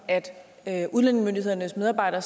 at udlændingemyndighedernes medarbejdere